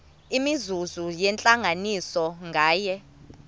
imizuzu yentlanganiso nganye